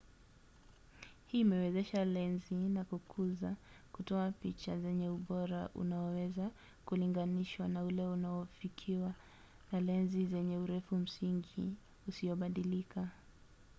hii imewezesha lenzi za kukuza kutoa picha zenye ubora unaoweza kulinganishwa na ule unaofikiwa na lenzi zenye urefu msingi usiobadilika